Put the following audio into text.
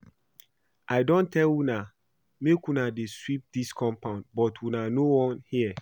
I don tell una make una dey sweep dis compound but una no wan hear